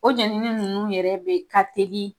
O jenini nunnu yɛrɛ de ka telin